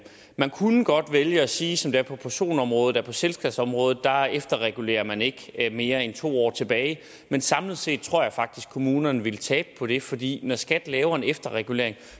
man kunne godt vælge at sige som det er på personområdet at på selskabsområdet efterregulerer man ikke mere end to år tilbage men samlet set tror jeg faktisk kommunerne ville tabe på det fordi når skat laver en efterregulering